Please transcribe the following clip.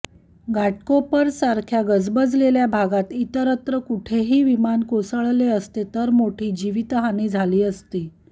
घाटकोपरसारख्या गजबलेल्या भागात इतरत्र कुठेही विमान कोसळले असते तर मोठी जीवितहानी झाली असती